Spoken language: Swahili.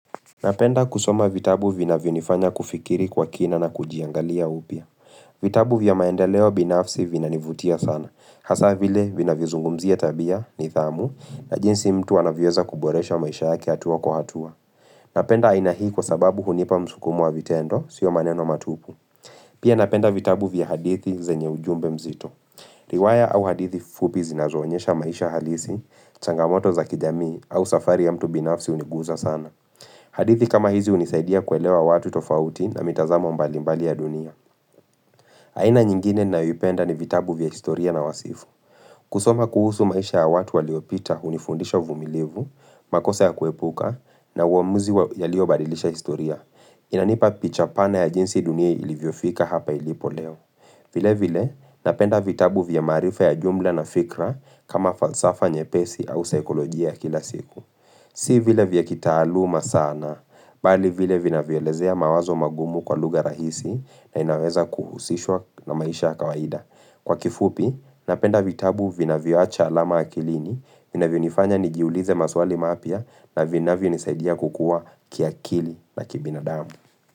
Napenda kusoma vitabu vinavyo nifanya kufikiri kwa kina na kujiangalia upya vitabu vya maendeleo binafsi vinanivutia sana hasa vile vinavyo zungumzia tabia nidhamu na jinsi mtu anavyoza kuboresha maisha yake hatuwa kuhatua Napenda aina hii kwa sababu hunipa msukumo wa vitendo sio maneno matupu Pia napenda vitabu vya hadithi zenye ujumbe mzito Riwaya au hadithi fupi zinazoanyesha maisha halisi, changamoto za kijamii au safari ya mtu binafsi uniguza sana hadithi kama hizi unisaidia kuelewa watu tofauti na mitazamo mbalimbali ya dunia. Haina nyingine ninayoipenda ni vitabu vya historia na wasifu. Kusoma kuhusu maisha ya watu waliopita hunifundisha uvumilivu, makosa ya kuepuka, na uamuzi yaliobadilisha historia, inanipa pichapana ya jinsi dunia ilivyo fika hapa ilipo leo. Vile vile, napenda vitabu vya marifa ya jumla na fikra kama falsafa nyepesi au saikolojia kila siku. Si vile vya kitaaluma sana, bali vile vina violezea mawazo magumu kwa lugha rahisi na inaweza kuhusishwa na maisha kawaida. Kwa kifupi, napenda vitabu vinavyoacha alama akilini, vinavyonifanya nigiulize maswali mapya na vinavyo nisaidia kukua kiakili na kibina damu.